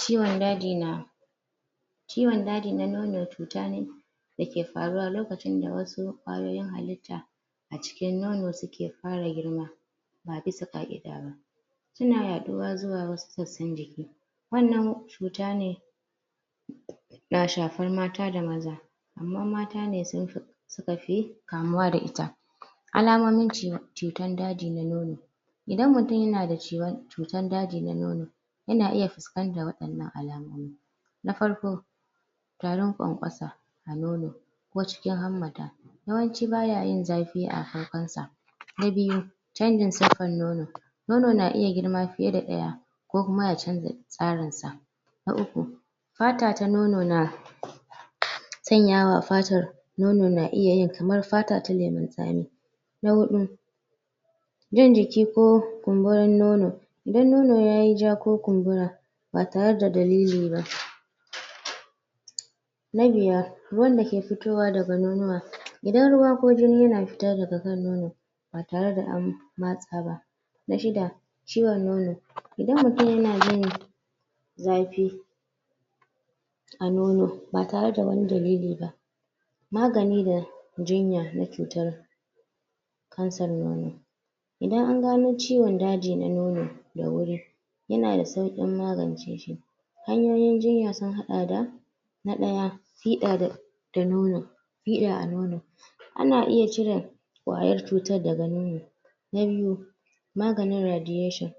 kiwon daji na ciwon daji na nono cuta ne da ke faruwa lokacin da wasu kwayoyin halita a cikin nono su ke girma ba bisa kaida ba su na? zuwa wasu sosayin jiki wannan cuta ne na shafar mata da maza amma mata ne sun fi su ka fi kamuwa da ita alamomin cutan daji na nono idan mutum ya na da cutan daji na nono yana iya fuskantan wadannan alamomi na farko tarin kwankwasa a nono ko cikin hammata yawanci ba ya yin zafi a farkon sa na biyu canjin sarfan nono nono na iya girmafiye da daya ko kuma ya canza sarin sa na uku fata ta nono na sanyawa fatar nonor na iya yi kamar fata na lemon sami na hudu jan jiki ko kumburin nono idan nono ya yi ja ko kumbura ba tare da dalili ba? wanda ke fitowa da ga nonuwa idan ruwa ko jini na fita da ga kan nono ba tare da an matsa ba na shida ciwon nono idan mutum ya na jin zafi a nono ba tare da wani dalili ba magani da jinya na cutar cancer nono idan a gano ciwon daji na nono da wuri ya na da saukin magance shi hanyoyin jinya sun hada da na daya fida da nono fida a nono ana iya cire kwayar cutan daga nono? maganin radiation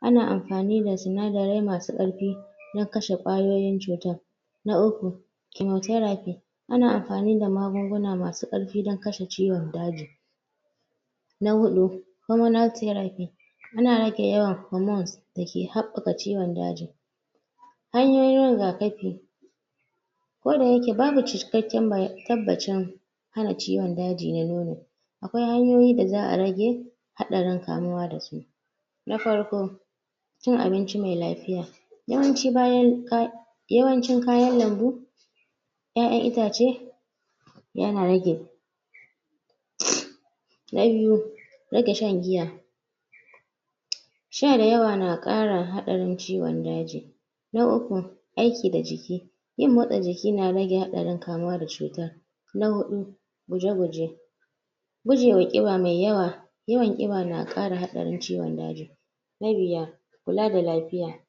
ana amfani da? masu karfi na kashen kwayoyin cutan na uku chemotheraphy ana amfani da magunguna masu karfi dan kashe ciwon daji na hudu hormonal therapy ana rage yawan hormones da ke habbaka ciwon daji hanyoyin rigakafi ko da yake babu cikakken tabacin wannan ciwon daji na nono wannan ciwon daji na nono akwai hanyoyi da za'a rage hadarin kamuwa da su na farko cin abinci mai lafiya yawancin bayan yawanci kayan lambu ya'aya bishiyoyi ya na rage? yayyu rage shan giya sha da yawa na kara hadarin ciwon daji na uku aiki da jiki yin motsa jiki na rage hadarin kamuwa da cuta na hudu guje guje gujewa kiba mai yawa yawan kiba na kara yawan ciwon daji na biyar kula da lafiya